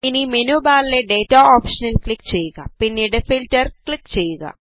ഇനി മെനു ബാറിലെ ഡേറ്റ ഓപ്ഷനിൽ ക്ലിക് ചെയ്യുക പിന്നീട് ഫിൽറ്റർ ൽ ക്ലിക് ചെയ്യുക